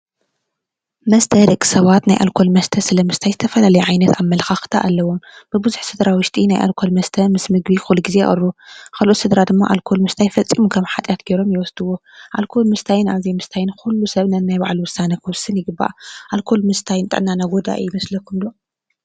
መስተ ደቂ ሰባት ናይ ኣልኮል መስተ ስለ ምስታይ ዝተፈላለየ ዓይነት ኣመለኻኽታ ኣለዎም ። ብብዙሕ ስድራ ኣብ ውሽጢ ናይ ኣልኮል መስተ ምስ ምግቢ ኩሉ ግዜ ይቕርቡ:: ካልኦት ስድራ ድማ ኣልኮል ምስታይ ፈፂሙ ከምሓጥያት ጌሮም ይወስድዎ:: አልኮል ምስታይን ኣብ ዘይምሰታይን ንኩሉ ሰብ ናይ ባዕሉ ውሳነ ክውስን ይግባእ። አልኮል ምስታይ ንጥዕናና ጎዳኢ ይመስለኩም ዶ?